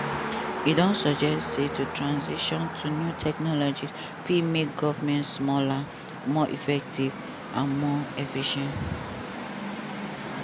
e don suggest say to transition to new technologies fit make govment smaller more effective and more efficient.